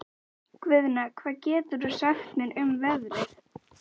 Guðna, hvað geturðu sagt mér um veðrið?